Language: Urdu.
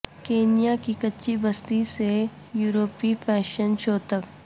کینیا کی کچی بستی سے یورپی فیشن شو تک